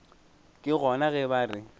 ke gona ge ba re